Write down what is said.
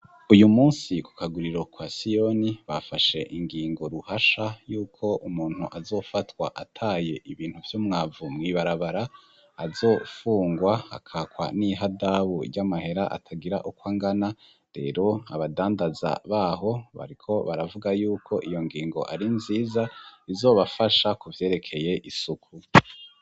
Iyu munsi ku kaguriro kwa siyoni bafashe ingingo nshasha y'uko umuntu azofatwa ataye ibintu vy'umwavu mwibarabara azofungwa akakwa n'ihadabu ry'amahera atagira ukwangana rero abadandaza baho bariko baravuga yuko iyo ngingo ari nziza izobafasha kuvyerekeye isuku.